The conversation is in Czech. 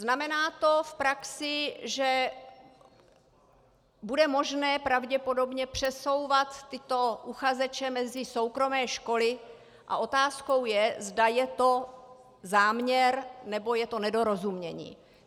Znamená to v praxi, že bude možné pravděpodobně přesouvat tyto uchazeče mezi soukromé školy, a otázkou je, zda je to záměr, nebo je to nedorozumění.